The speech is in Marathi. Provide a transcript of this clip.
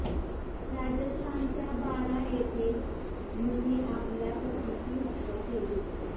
राजस्थानच्या बारा येथे पत्नीने आपल्या पतीची हत्या केली